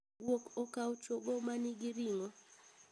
Guok okao chogo manigi ring'o